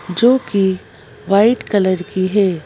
जोकि white colour की है।